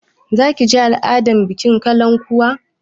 Za ki je bikin al'adar kalankuwa?